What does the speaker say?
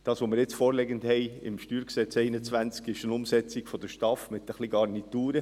Was nun im StG 2021 vorliegt, ist eine Umsetzung der STAF mit ein paar Garnituren.